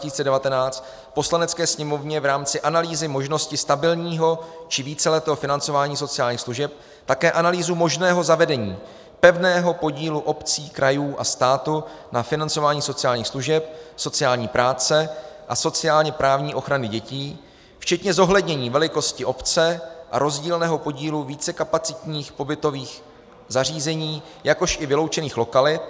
Poslanecké sněmovně v rámci analýzy možnosti stabilního či víceletého financování sociálních služeb také analýzu možného zavedení pevného podílu obcí, krajů a státu na financování sociálních služeb, sociální práce a sociálně-právní ochrany dětí, včetně zohlednění velikosti obce a rozdílného podílu vícekapacitních pobytových zařízení, jakož i vyloučených lokalit.